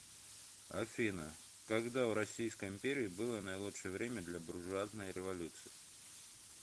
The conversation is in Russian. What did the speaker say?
афина когда в российской империи было наилучшее время для буржуазной революции